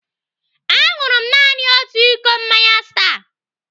Aṅụrụ m naanị otu iko mmanya Star.